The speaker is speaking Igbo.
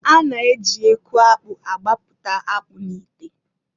A na- eji eku akpụ agbapụta akpụ n'ite.